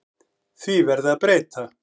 Því verði að breyta.